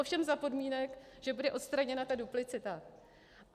Ovšem za podmínek, že bude odstraněna ta duplicita.